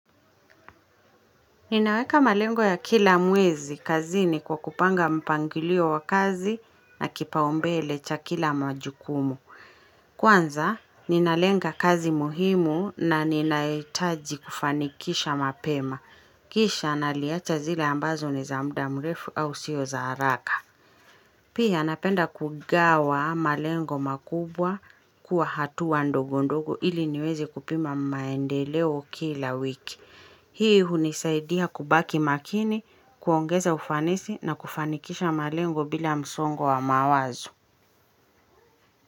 Ninaweka malengo ya kila mwezi kazi ni kwa kupanga mpangilio wa kazi na kipaombele cha kila majukumu. Kwanza, ninalenga kazi muhimu na ninaetaji kufanikisha mapema. Kisha naliacha zile ambazo ni za muda mrefu au sio za haraka. Pia napenda kugawa malengo makubwa kuwa hatuwa ndogo ndogo ili niwezi kupima maendeleo kila wiki. Hii hunisaidia kubaki makini, kuongeza ufanisi na kufanikisha malengo bila msongo wa mawazo.